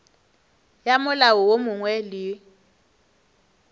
ya molao wo mongwe le